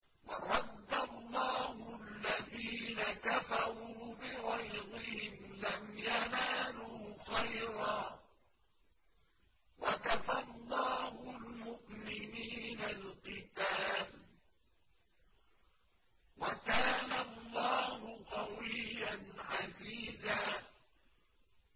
وَرَدَّ اللَّهُ الَّذِينَ كَفَرُوا بِغَيْظِهِمْ لَمْ يَنَالُوا خَيْرًا ۚ وَكَفَى اللَّهُ الْمُؤْمِنِينَ الْقِتَالَ ۚ وَكَانَ اللَّهُ قَوِيًّا عَزِيزًا